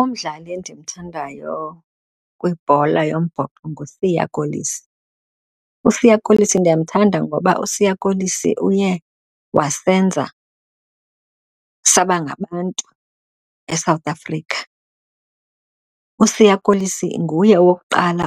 Umdlali endimthandayo kwibhola yombhoxo nguSiya Kolisi. USiya Kolisi ndiyamthanda ngoba uSiya Kolisi uye wayesenza saba ngabantu eSouth Africa, uSiya Kolisi nguye owokuqala